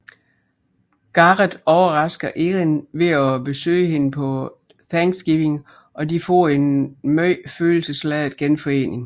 Garrett overrasker Erin ved at besøge hende på Thanksgiving og de får en meget følelsesladet genforening